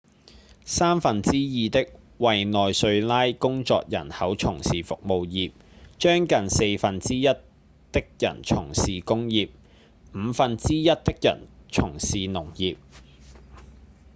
三分之二的委內瑞拉工作人口從事服務業將近四分之一的人從事工業五分之一的人從事農業